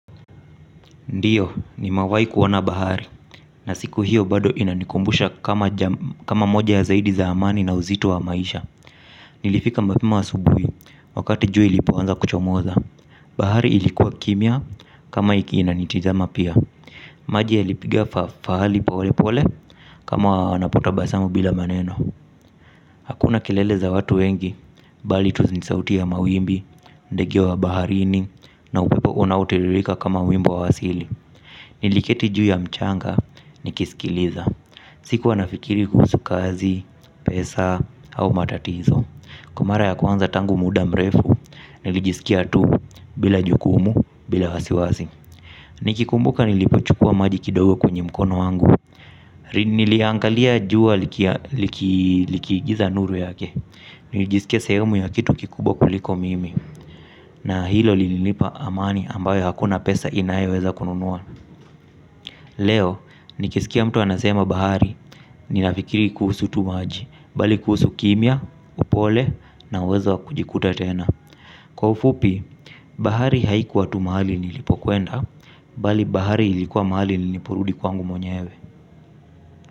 Ndiyo nimewai kuona bahari na siku hiyo bado inanikumbusha kama moja ya zaidi za amani na uzito wa maisha. Nilifika mapema asubuhi wakati jua ilipoanza kuchomoza. Bahari ilikuwa kimya kama iki inanitizama pia. Maji yalipigia fahali pole pole kama wanapo tabasamu bila maneno. Hakuna kelele za watu wengi bali tu ni sauti ya mawimbi, ndege wa baharini na upepo unautililika kama wimbo wa asili. Niliketi juu ya mchanga, nikisikiliza. Sikuwa nafikiri kuhusu kazi, pesa, au matatizo. Kwa mara ya kwanza tangu muda mrefu, nilijisikia tu bila jukumu, bila wasiwasi. Nikikumbuka nilipochukua maji kidogo kwenye mkono wangu niliangalia jua likiigiza nuru yake. Nilijisikia sehemu ya kitu kikubwa kuliko mimi. Na hilo lilnipa amani ambayo hakuna pesa inayo weza kununua. Leo, nikisikia mtu anasema bahari, ninafikiri kuhusu tu maji, bali kuhusu kimya, upole na uwezo kujikuta tena. Kwa ufupi, bahari haikuwa tu mahali nilipokwenda, bali bahari ilikuwa mahali nilipurudi kwangu mwenyewe.